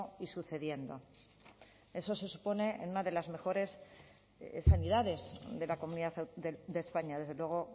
y sucediendo eso se supone en una de las mejores sanidades de la comunidad de españa desde luego